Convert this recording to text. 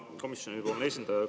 Hea komisjoni esindaja!